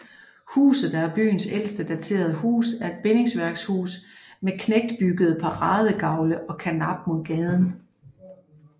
Huset der er byens ældste daterede hus er et bindingsværkshus med knægtbygget paradegavl og karnap mod gaden